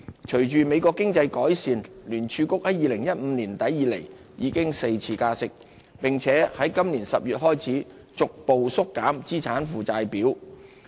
隨着美國經濟改善，聯儲局自2015年年底以來已加息4次，並在今年10月開始逐步縮減資產負債表。